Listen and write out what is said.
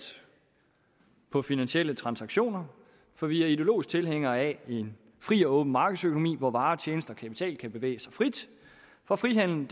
på finansielle transaktioner for vi er ideologisk tilhængere af en fri og åben markedsøkonomi hvor varer tjenester og kapital kan bevæge sig frit for frihandel